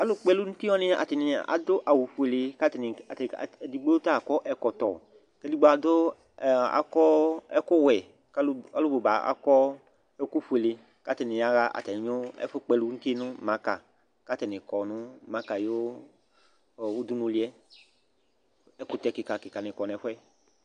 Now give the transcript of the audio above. Alʋkpɔ ɛlʋ nʋ uti wanɩ atanɩ adʋ awʋfuele kʋ atanɩ atanɩ edigbo ta akɔ ɛkɔtɔ kʋ edigbo adʋ, akɔ ɛkʋwɛ kʋ alʋ bʋ ba akɔ ɛkʋfuele kʋ atanɩ yaɣa atamɩ ɛfʋkpɔ ɛlʋ nʋ uti yɛ nʋ maka kʋ atanɩ kɔ nʋ maka ayʋ udunuli yɛ Ɛkʋtɛ kɩka kɩkanɩ kɔ nʋ ɛfʋ yɛ